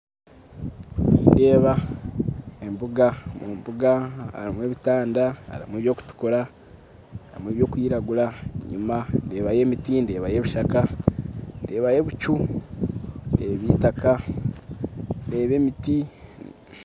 Nindeeba embuga, omu mbuga harimu ebitanda harimu ebirikutukura harimu ebirikwiragura enyima ndeebayo emiti ndeebayo ebishaka ndeebayo ebicu ndeeba eitaka ndeeba emiti